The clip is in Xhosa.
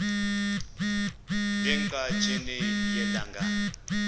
ne ngqatsini yelanga